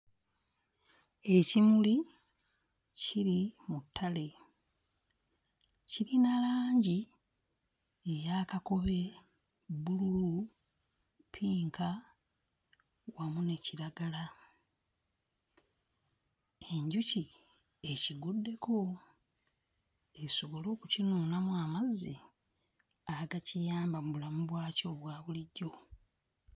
Ekimuli kiri mu ttale kirina langi eya kakobe, bbululu, ppinka wamu ne kiragala. Enjuki ekiguddeko esobole okukinuunamu amazzi agakiyamba mu bulamu bwakyo obwa bulijjo.